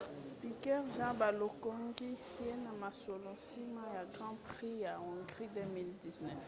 piquet jr. balongoki ye na mosala nsima ya grand prix ya hongrie ya 2009